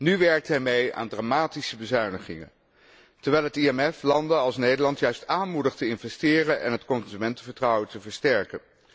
Nu werkt hij mee aan dramatische bezuinigingen, terwijl het IMF landen als Nederland juist aanmoedigt te investeren en het consumentenvertrouwen te versterken.